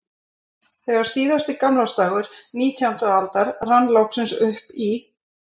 Þegar síðasti gamlársdagur nítjándu aldar rann loks upp í